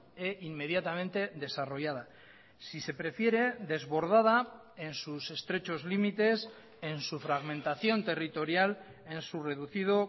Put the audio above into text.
e inmediatamente desarrollada si se prefiere desbordada en sus estrechos límites en su fragmentación territorial en su reducido